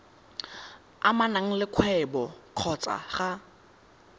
amanang le kgwebo kgotsa ga